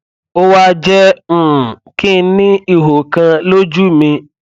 ó wá jẹ um kí n ní ihò kan lójú mi